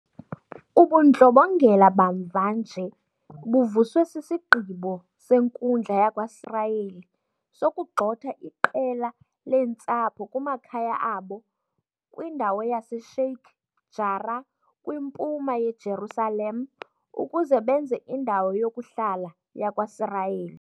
Ubundlobongela bamva nje buvuswe sisigqibo senkundla yakwaSirayeli sokugxotha iqela leentsapho kumakhaya abo kwindawo yase-Sheikh Jarrah kwiMpuma yeJerusalem ukuze benze indawo yokuhlala yakwaSirayeli.